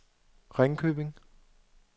Ringkøbing